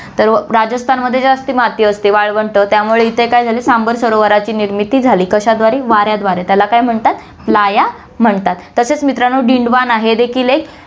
तर राजस्थानमध्ये जास्त माती असते, वाळवंट त्यामुळे इथे काय झालं, सांबर सरोवराची निर्मिती झाली, कशाद्वारे वाऱ्याद्वारे, त्याला काय म्हणतात playa म्हणतात, तसेच मित्रांनो, डीडवाना हे देखील एक